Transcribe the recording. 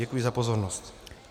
Děkuji za pozornost.